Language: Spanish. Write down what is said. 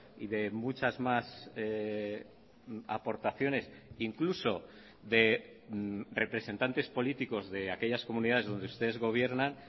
y de muchas más aportaciones incluso de representantes políticos de aquellas comunidades donde ustedes gobiernan